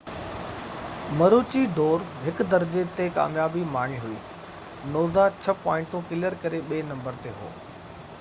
مروچي ڊور 1 درجي تي ڪاميابي ماڻي هئي نوزا 6 پوائنٽون ڪليئر ڪري ٻي نمبر تي هو